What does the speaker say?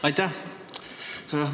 Aitäh!